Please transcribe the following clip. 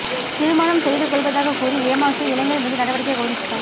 திருமணம் செய்துகொள்வதாகக் கூறி ஏமாற்றிய இளைஞா் மீது நடவடிக்கை கோரி புகாா்